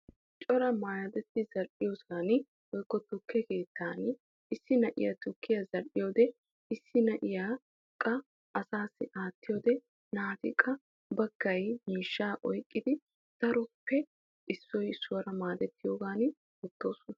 Cora maayotta bayzziyosan tukke keettaan issi na'iyaa tukkiyaa zal'iyode issi na'iyaa qa asaasi aattiyode naati qa miishshaa oyqqidi daroppe issoy issuwaara maadettiyogan oottoosona.